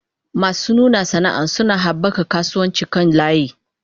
Masu nuna sana'a suna haɓaka kasuwancin kan layi.